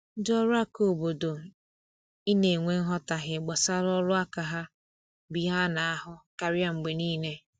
Ndị ọrụ aka obodo I na enwe nghotahie gbasara ọrụ aka ha bụ ihe ana ahụ karịa mgbe niile